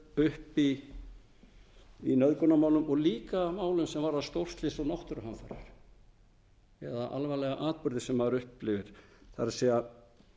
upp í nauðgunarmálum og líka málum sem varða stórslys og náttúruhamfarir eða alvarlega atburði sem maður upplifir það er að